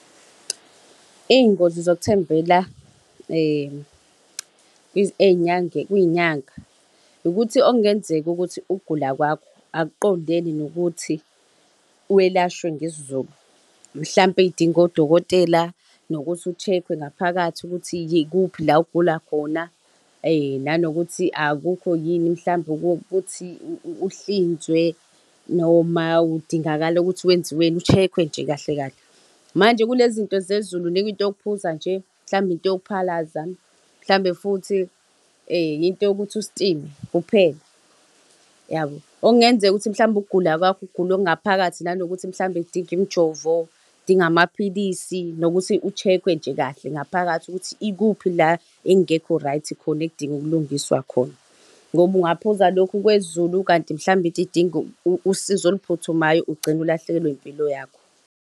Iy'ngozi zokuthembela kwiy'nyanga ukuthi okungenzeka ukuthi ukugula kwakho akuqondene nokuthi welashwe ngesiZulu. Mhlawumpe idinga odokotela nokuthi u-check-we ngaphakathi ukuthi ikuphi la ogula khona nanokuthi akukho yini mhlawumbe ukuthi uhlinzwe noma kudingakala ukuthi wenziweni ushekhwe nje kahle kahle. Manje kulezi zinto zesiZulu unikwa into yokuphuza nje, mhlawumbe into yokuphalaza mhlawumbe futhi into yokuthi ustime kuphela yabo, okungenzeka ukuthi mhlawumbe ukugula kwakho ukugula okungaphakathi nanokuthi mhlawumbe kudinga imjovo, kudinga amaphilisi nokuthi u-check-we nje kahle ngaphakathi ukuthi ikuphi la ekungekho right khona ekudinga ukulungiswa khona ngoba ungaphuza lokhu kwesiZulu kanti mhlawumbe into idinga usizo oluphuthumayo, ugcine ulahlekelwe impilo yakho.